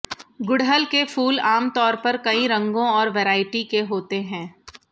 गुड़हल के फूल आमतौर पर कई रंगों और वैरायटी के होते हैं